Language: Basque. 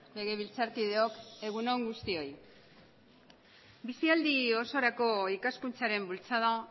legebiltzarkideok egun on guztioi bizialdi osorako ikaskuntzaren bultzada